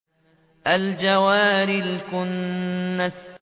الْجَوَارِ الْكُنَّسِ